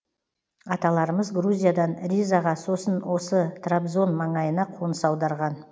аталарымыз грузиядан ризаға сосын осы трабзон маңайына қоныс аударған